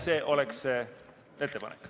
See oleks meie ettepanek.